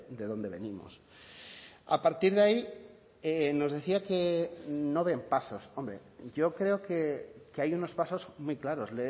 de dónde venimos a partir de ahí nos decía que no ven pasos hombre yo creo que hay unos pasos muy claros